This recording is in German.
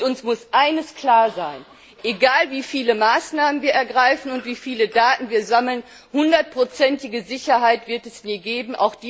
Uns muss eines klar sein Egal, wie viele Maßnahmen wir ergreifen und wie viele Daten wir sammeln, hundertprozentige Sicherheit wird es nie geben.